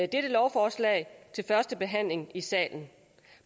dette lovforslag til første behandling i salen